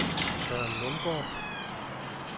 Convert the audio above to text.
Søren Lundgaard